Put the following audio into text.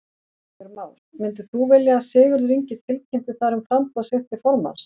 Heimir Már: Myndir þú vilja að Sigurður Ingi tilkynnti þar um framboð sitt til formanns?